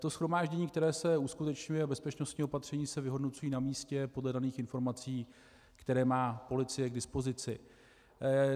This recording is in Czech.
To shromáždění, které se uskutečňuje, a bezpečnostní opatření se vyhodnocují na místě podle daných informací, které má policie k dispozici.